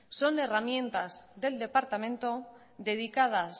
son herramientas del departamento dedicadas